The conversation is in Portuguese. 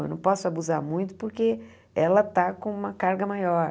Eu não posso abusar muito porque ela está com uma carga maior.